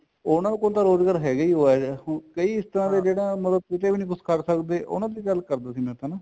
ਉਹਨਾ ਕੋਲ ਰੋਜ਼ਗਾਰ ਹੈਗਾ ਹੀ ਆ ਕਈ ਇਸ ਤਰ੍ਹਾਂ ਦੇ ਜਿਹੜਾ ਉਹਨਾ ਦਾ ਕਿਤੇ ਵੀ ਕੁੱਝ ਨੀ ਕਰ ਸਕਦੇ ਉਹਨਾ ਦੀ ਗੱਲ ਕਰਦਾ ਸੀ ਮੈਂ ਤਾਂ ਨਾ